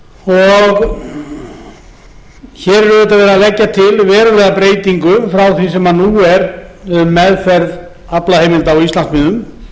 er auðvitað verið að leggja til verulega breytingu frá því sem nú er um meðferð aflaheimilda á íslandsmiðum